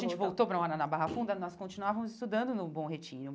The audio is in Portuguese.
A gente voltou para morar na Barra Funda, nós continuávamos estudando no Bom Retiro.